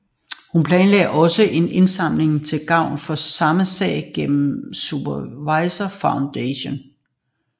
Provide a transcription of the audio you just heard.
Hun planlagde også en indsamling til gavn for samme sag gennem Survivor Foundation